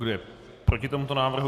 Kdo je proti tomuto návrhu?